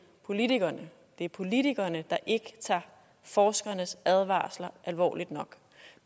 politikerne det er politikerne der ikke tager forskernes advarsler alvorligt nok